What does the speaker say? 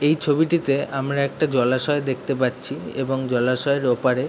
এই ছবিটিতে আমরা একটা জলাশয় দেখতে পারছি এবং জলাশয়ের ওপারে।